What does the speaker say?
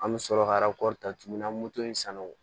An bɛ sɔrɔ ka ta tuguni ka moto in san o